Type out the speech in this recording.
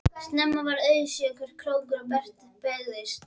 Snemma varð auðséð hvert krókur Bertu beygðist.